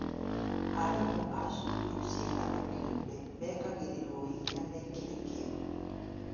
Arimũ a cukuru cia andũ kĩũmbe mekagĩriĩrwo hinya mekĩre kĩo